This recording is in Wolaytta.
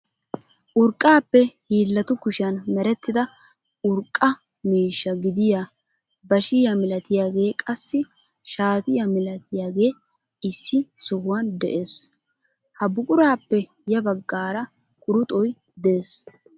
Urqqaappe hiillatu kushiyaan merettida urqqaa miisha gidiyaa bashiyaa milatiyaagee qassi shaatiyaa milatiyaagee issi sohuwaan de'ees. Ha buqurappe yaa baggaara quruxoy dees.